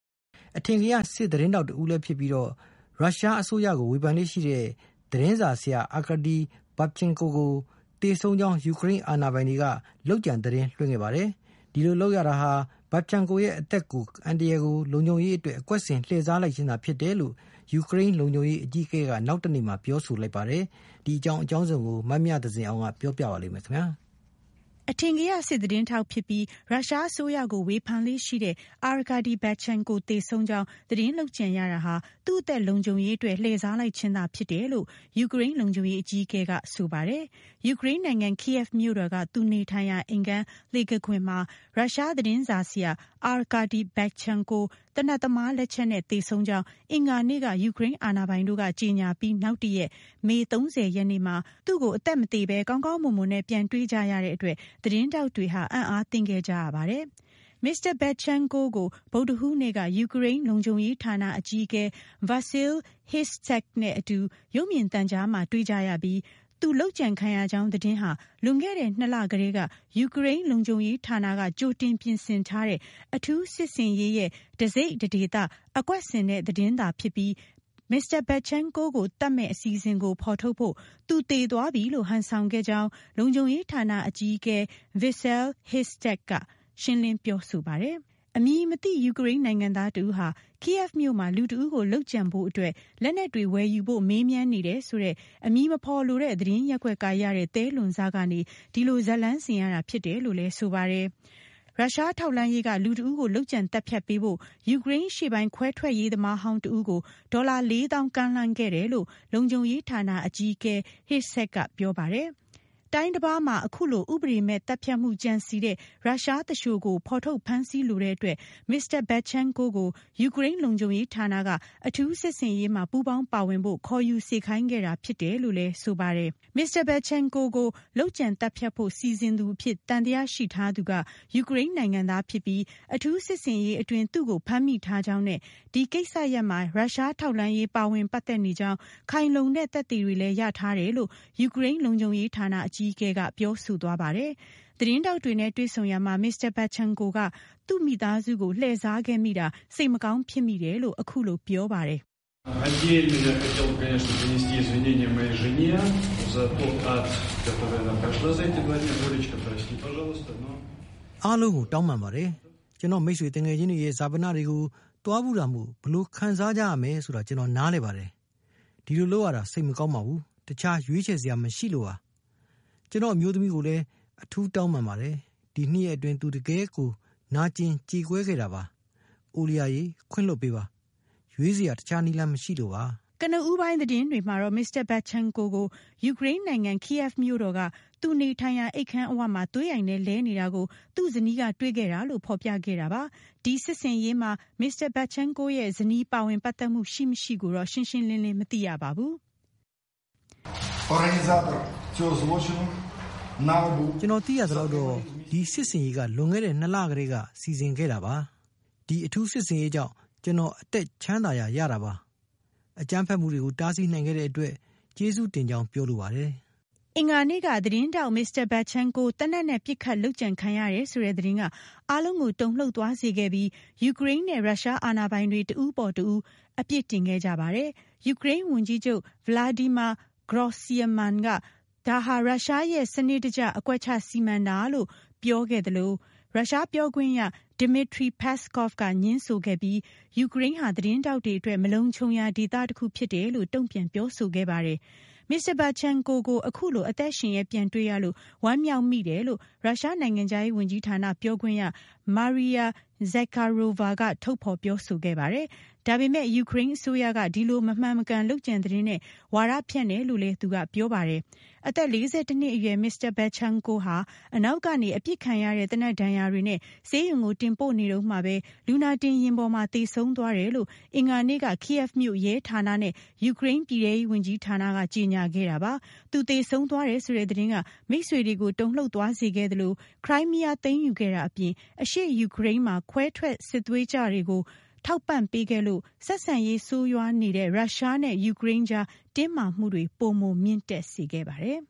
အထင်ကရစစ်သတင်းထောက် ဖြစ်ပြီး ရုရှား အစိုးရကို ဝေဖန်လေ့ရှိတဲ့ Arkady Babchenko သေဆုံးကြောင်း သတင်းဟာ သူ့အသက်လုံခြုံရေးအတွက် အကွက်ဆင်လှည့်စားလိုက်ခြင်းသာဖြစ်တယ်လို့ Mr. Babchenko သေဆုံးကြောင်းကြေငြာပြီး နောက်တနေ့မှာပဲ ယူကရိန်း လုံခြုံရေးအကြီးအကဲက ပြောဆိုလိုက်ပါတယ်၊၊ အပြည့်အစုံကိုမမြသဇင်အောင်က တင်ဆက်ပေးမှာပါ၊၊ ရုရှား သတင်းထောက် Arkady Babchenko ဟာ ယူကရိန်းနိုင်ငံ Kyiv မြို့တော်က သူနေထိုင်ရာ အိမ်ခန်းလှေခါးခွင်မှာ သေနတ်သမား လက်ချက်နဲ့ သေဆုံးခဲ့ကြောင်း အင်္ဂါနေ့က ယူကရိန်းအာဏာပိုင်တို့က ကြေညာပြီးနောက် တရက် မေ ၃၀ ရက်နေ့ မှာ သူ့ကိုအသက်မသေပဲ ကောင်းကောင်းမွန်မွန်နဲ့ ပြန်တွေ့ကြရတဲ့အတွက် သတင်းထောက်တွေဟာ အံ့အားသင့်ခဲ့ကြရပါတယ်၊၊ Mr. Babchenko ကို ဗုဒ္ဓဟူးနေ့က ယူကရိန်း လုံခြုံရေးဌာနအကြီးအကဲ Vasyl Hrystsak နဲ့အတူ ရုပ်မြင်သံကြားမှာတွေ့ခဲ့ကြရပြီး သူလုပ်ကြံခံရကြောင်း သတင်းဟာ လွန်ခဲ့တဲ့ ၂ လကတည်းက ယူကရိန်းလုံခြုံရေးဌာနက ကြိုတင်ပြင်ဆင်ထားတဲ့ အထူးစစ်ဆင်ရေး ရဲ့ တစိတ်တဒေသ အကွက်ဆင်သတင်းသာဖြစ်ပြီး Babchenko ကို သတ်မယ့် အစီအစဉ်ကို ဖော်ထုတ်ဖို့ သူသေသွားပြီလို့ ဟန်ဆောင်သတင်းလွှင့်ခဲ့တာဖြစ်တယ်လို့ လုံခြုံရေးဌာနအကြီးအကဲ Vasyl Hrystsak ရှင်းလင်းပြောဆိုပါတယ်၊၊ အမည်မသိ ယူကရိန်းနိုင်ငံသားတဦးဟာ Kyiv မြို့မှာ လူတဦးကိုလုပ်ကြံမှှုဖို့ အတွက် လက်နက်တွေဝယ်ယူဖို့မေးမြန်းနေတယ်ဆိုတဲ့ အမည်မဖော်လိုတဲ့ သတင်းရပ်ကွက်ကရတဲ့ သဲလွန်စကနေ ဒီလိုဇာတ်လမ်းဆင်ရတာ ဖြစ်တယ် လို့လည်းဆိုပါတယ်၊၊ လူတဦးကို လုပ်ကြံသတ်ဖြတ်ပေးဖို့ ရုရှားထောက်လှမ်းရေးက ယူကရိန်းအရှေ့ပိုင်း ခွဲထွက်ရေးသမားဟောင်း တဦးကို ဒေါ်လာ ၄၀၀၀၀ ကမ်းလှမ်း ခဲ့တယ်လို့လည်း လုံခြုံရေး ဌာန အကြီးအကဲ Hrysak ကပြောပါတယ်၊၊ တိုင်းတပါးမှာ အခုလိုဥပဒေမဲ့ သတ်ဖြတ်မှှု ကြံစည်တဲ့ ရုရှားသူလျှိုကိုဖော်ထုတ်ဖမ်းဆီးလိုတဲ့အတွက် Mr. Babchenko ကို ယူကရိန်း လုံခြုံရေးဌာနက အထူးစစ်ဆင်ရေးမှာပူးပေါင်း ပါဝင်ဖို့ ခေါ်ယူစေခိုင်းခဲ့တာဖြစ်တယ်လို့ဆိုပါတယ်၊၊ Mr. Babchenko ကိုလုပ်ကြံသတ်ဖြတ်ဖို့ စီစဉ်သူ အဖြစ် သံသယ ရှိထားသူက ယူကရိန်းနိုင်ငံသား ဖြစ်ပြီး အထူးစစ်ဆင်ရေး အတွင်း သူ့ကို ဖမ်းမိထားကြောင်း နဲ့ ဒီကိစ္စရပ်မှာ ရုရှားထောက်လှမ်းရေးပါဝင်ပတ်သက်နေကြောင်း ခိုင်လုံတဲ့ သက်သေတွေလည်း ရထားတယ်လို့ ယူကရိန်း လုံခြုံရေးဌာန အကြီးအကဲက ပြောဆိုသွားပါတယ်။ သတင်းထောက်တွေနဲ့တွေ့ဆုံရာမှာ Mr. Babchenko က သူ့မိသားစုကို လှည့်စားခဲ့မိတာစိတ်မကောင်းဖြစ်မိတယ်လို့ အခုလိုပြောပါတယ်၊၊ "အားလုံးကိုတောင်းပန်ပါတယ်၊၊ ကျွန်တော့မိတ်ဆွေသူငယ်ချင်းတွေရဲ့ ဈာပနတွေကို သွားဖူးတာမို့ ဘယ်လိုခံစားကြရမယ်ဆိုတာ ကျွန်တော်နားလည်ပါတယ်၊၊ ဒီလိုလုပ်ရတာ စိတ်မကောင်းပါဘူး၊၊ တခြားရွေးချယ်စရာမရှိလို့ပါ၊၊ "ကျွန်တော့အမျိုးသမီးကိုလည်း အထူးတောင်းပန်ပါတယ်၊၊ ဒီ၂ ရက်အတွင်းသူတကယ်ကိုနာကြင်ကြေကွဲခဲ့တာပါ၊၊" ကနဦးပိုင်းသတင်းတွေမှာတော့ Mr. Babchenko ကို ယူကရိန်းနိုင်ငံ Kyiv မြို့တော်က သူနေထိုင်ရာ အိမ်ခန်းအဝမှာ သွေးအိုင်ထဲလဲနေတာကို သူ့ဇနီးကတွေ့ခဲ့တာလို့ဖော်ပြခဲ့တာပါ၊၊ ဒီစစ်ဆင်ရေးမှာ Mr. Babchenko ရဲ့ဇနီးပါဝင်ပတ်သက်မှှုရှိ ၊ မရှိကိုတော့ ရှင်းရှင်းလင်းလင်းမသိရပါဘူး၊၊ "ကျွန်တော်သိရသလောက်တော့ ဒီစစ်ဆင်ရေးက လွန်ခဲ့တဲ့ ၂ လကတည်းကစီစဉ်ခဲ့တာပါ၊၊ ဒီအထူးစစ်ဆင်ရေးကြောင့် ကျွန်တော်အသက်ချမ်းသာရတာပါ၊၊ အကြမ်းဖက်မှှုတွေကိုတားဆီးနိုင်ခဲ့တဲ့ အတွက် ကျေးဇူးတင်ကြောင်းပြောလိုပါတယ်၊၊" အင်္ဂါနေ့က သတင်းထောက် Mr. Babchenko သေနတ်နဲ့ ပစ်ခတ်လုပ်ကြံခံရတယ်ဆိုတဲ့သတင်းက အားလုံးကိုတုန်လှှုပ်သွားစေခဲ့ပြီး ယူကရိန်းနဲ့ရုရှားအာဏာပိုင်တွေ တဦးအပေါ်တဦး အပြစ်တင်ခဲ့ကြပါတယ်၊၊ ယူကရိန်း ဝန်ကြီးချုပ် Volodymyr Groysman က ဒါဟာရုရှားရဲ့ စနစ်တကျအကွက်ချစီမံတာလို့ပြောခဲ့သလို ရုရှားပြောခွင့်ရ Dmitry Peskov ကငြင်းဆိုခဲ့ပြီး ယူကရိန်းဟာ သတင်းထောက်တွေအတွက် မလုံခြုံရာဒေသတခုဖြစ်တယ်လို့ တုံ့ပြန်ပြောဆိုခဲ့ပါတယ်၊၊ Mr. Babchenko ကို အခုလို အသက်ရှင်လျက်ပြန်တွေ့ရလို့ ဝမ်းမြောက်မိတယ်လို့ ရုရှားနိုင်ငံခြားရေးဝန်ကြီးဌာန ပြောခွင့်ရ Maria Zakharova ကထုတ်ဖော်ပြောဆိုခဲ့ပါတယ်၊၊ ဒါပေမဲ့ ယူကရိန်းအစိုးရ က ဒီလိုမမှန်မကန်လုပ်ကြံသတင်းနဲ့ ဝါဒဖြန့်တယ်လို့လည်း သူကပြောပါတယ်၊၊ အသက် ၄၁ နှစ်အရွယ် Mr. Babchenko ဟာအနောက်ကနေပစ်ခံရတဲ့ သေနတ်ဒဏ်ရာတွေနဲ့ ဆေးရုံကိုတင်ပို့ နေတုန်းမှာပဲ လူနာတင်ယာဉ်ပေါ်မှာသေဆုံးသွားတယ်လို့ အင်္ဂါနေ့ကKyiv မြိုရဲဌာနနဲ့ ယူကရိန်းပြည်ထဲရေးဝန်ကြီးဌာနက ကြေငြာခဲ့တာပါ၊၊ သူသေဆုံးသွားတယ်ဆိုတဲ့သတင်းက မိတ်ဆွေတွေကို တုန်လှှုပ်သွားစေခဲ့သလို ကရိုင်းမီးယားကို သိမ်းယူခဲ့တာအပြင် အရှေ့ယူကရိန်းမှာ ခွဲထွက်ရေးစစ်သွေးကြွတွေကို အထောက်အပံ့ပေးခဲ့လို့ ဆက်ဆံရေးဆိုးရွားနေတဲ့ ရုရှားနဲ့ ယူကရိန်းအကြားတင်းမာမှှုတွေ ပိုမိုမြင့်တက်စေခဲ့ပါတယ်